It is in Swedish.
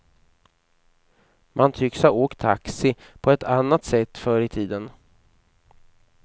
Man tycks ha åkt taxi på ett annat sätt förr i tiden.